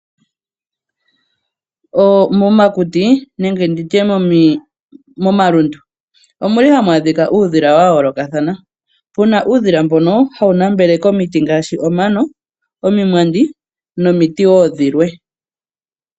Momakuti nenge ndi tye momalundu ohamu adhika uudhila wayoolokathana pu na uudhila mbono hawu nambele komiti ngaashi omano, omimwandi nomiti wo dhilwe.